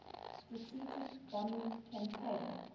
strategic bombing campaign